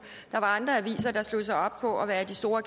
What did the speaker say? der var andre aviser der slog sig op på at være de store